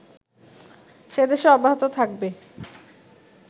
সেদেশে অব্যাহত থাকবে